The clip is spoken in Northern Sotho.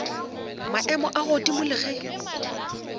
maemo a godimo le ge